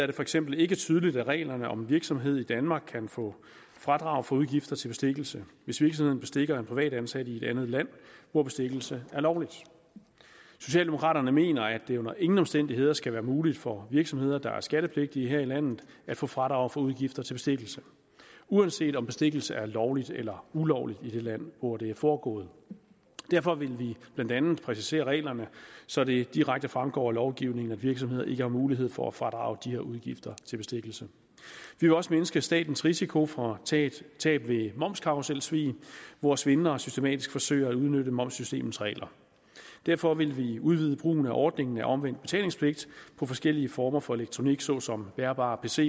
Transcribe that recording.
det for eksempel ikke tydeligt af reglerne om en virksomhed i danmark kan få fradrag for udgifter til bestikkelse hvis virksomheden bestikker en privatansat i et andet land hvor bestikkelse er lovligt socialdemokraterne mener at det under ingen omstændigheder skal være muligt for virksomheder der er skattepligtige her i landet at få fradrag for udgifter til bestikkelse uanset om bestikkelse er lovligt eller ulovligt i det land hvor det er foregået derfor vil vi blandt andet præcisere reglerne så det direkte fremgår af lovgivningen at virksomheder ikke har mulighed for at fradrage de her udgifter til bestikkelse vi vil også mindske statens risiko for tab tab ved momskarruselsvig hvor svindlere systematisk forsøger at udnytte momssystemets regler derfor vil vi udvide brugen af ordningen af omvendt betalingspligt på forskellige former for elektronik såsom bærbare pcer